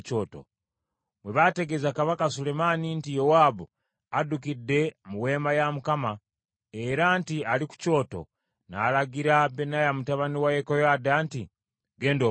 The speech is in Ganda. Bwe baategeeza kabaka Sulemaani nti Yowaabu addukidde mu weema ya Mukama , era nti ali ku kyoto, n’alagira Benaya mutabani wa Yekoyaada nti, “Genda omutte.”